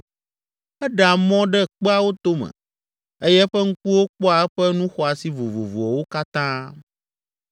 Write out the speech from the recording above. Eɖea mɔ ɖe kpeawo tome eye eƒe ŋkuwo kpɔa eƒe nu xɔasi vovovowo katã.